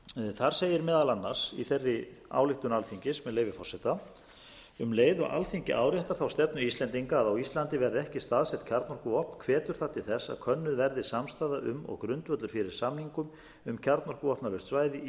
þar segir meðal annars í þeirri ályktun alþingis með leyfi forseta um leið og alþingi áréttar þá stefnu íslendinga að á ísland verði ekki staðsett kjarnorkuvopn hvetur það til þess að könnuð verði samstaða um og grundvöllur fyrir samningum um kjarnorkuvopnalaust svæði í